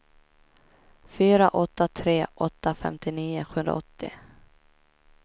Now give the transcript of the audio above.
fyra åtta tre åtta femtionio sjuhundraåttio